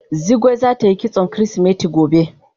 Zugwai zata yi kitson kirisimeti gobe.